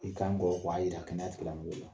I kan k'o wa yira kɛnɛya tigila mɔgɔw la.